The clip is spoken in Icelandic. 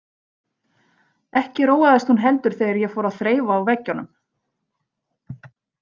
Ekki róaðist hún heldur þegar ég fór að þreifa á veggjunum.